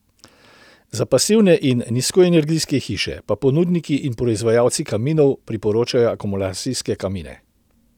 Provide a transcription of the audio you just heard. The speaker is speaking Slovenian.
Za pasivne in nizkoenergijske hiše pa ponudniki in proizvajalci kaminov priporočajo akumulacijske kamine.